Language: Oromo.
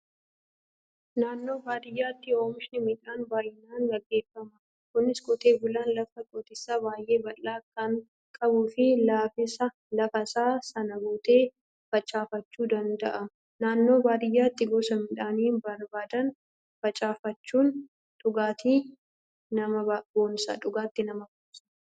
Naannoo baadiyyaatti oomishni midhaanii bay'inaan gaggeeffama. Kunis qotee bulaan lafa qotiisaa baay'ee bal'aa kan qabuu fi lafasaa sana guutee facaafachuu danda'a. Naannoo baadiyyaatti gosa midhaanii barbaadan facaafachuun dhugaatti nama boonsa.